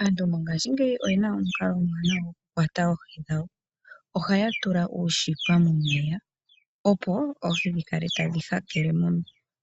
Aantu mongaashingeyi oyena omikalo omiwanawa dhokukwata oohi dhawo ohaya tula uushipa momeya, opo oohi dhi kale tadhi hakele mo